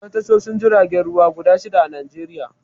Akwai tashoshin jiragen ruwa guda shidda a Najeriya